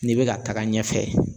N'i bɛ ka taga ɲɛfɛ